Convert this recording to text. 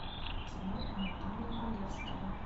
кино анатолия валевского